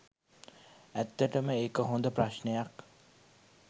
ඇත්තටම ඒක හොඳ ප්‍රශ්නයක්.